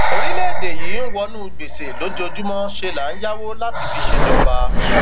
orílẹèdè yìí ń wọnú gbèsè lójoojúmọ ṣe là ń yáwó láti fi ṣèjọba